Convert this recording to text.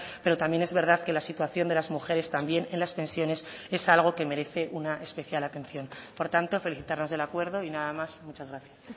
pero también es verdad que la situación de las mujeres también en las pensiones es algo que merece una especial atención por tanto felicitarnos del acuerdo y nada más muchas gracias